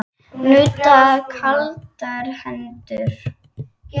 Nuddar kaldar hendur.